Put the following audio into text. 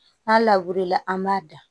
N'a lawulila an b'a da